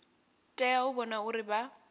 tea u vhona uri vha